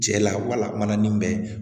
Cɛ la wala ni mɛn